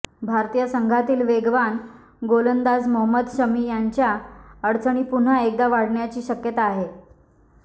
भारतीय संघातील वेगवान गोलंदाज मोहम्मद शमी यांच्या अडचणी पुन्हा एकदा वाढण्याची शक्यता आहे